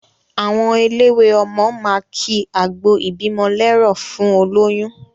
Àwọn elelwé ọmọ máa ki àgbọ ìbímọ lẹ́rọ̀ fún olóyún.